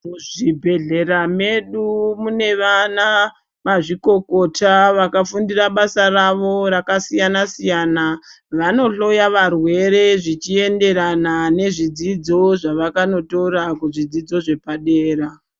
Muzvi bhedhlera medu mune vana mazvikokota vakafundira bara ravo zvakasiyana siyana vano hloya varwere zvichienderana nezvi dzidzo zvavakanotors kuzvi dzidzo zvepa dera.